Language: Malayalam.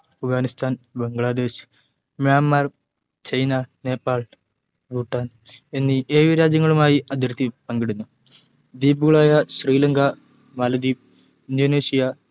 അഫ്ഗാനിസ്ഥാൻ ബംഗ്ളാദേശ് മ്യാന്മർ ചൈന നേപ്പാൾ ഭൂട്ടാൻ എന്നീ ഏഴു രാജ്യങ്ങളുമായി അതിർത്തി പങ്കിടുന്നു ദ്വീപുകളായ ശ്രീലങ്ക മാലദ്വീപ് ഇന്തോനേഷ്യ